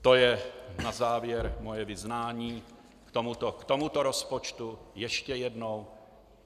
To je na závěr moje vyznání k tomuto rozpočtu ještě jednou.